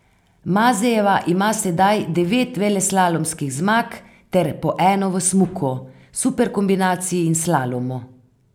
Mazejeva ima sedaj devet veleslalomskih zmag ter po eno v smuku, superkombinaciji in slalomu.